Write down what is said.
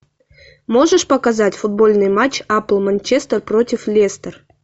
можешь показать футбольный матч апл манчестер против лестер